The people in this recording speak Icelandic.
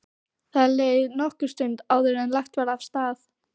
Það leið nokkur stund áður en lagt var af stað.